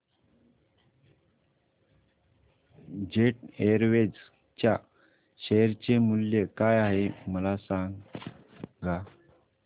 jet Airways च्या share चे मूल्य काय आहे मला सांगा